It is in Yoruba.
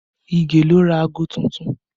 Ige ló ra aago tuntun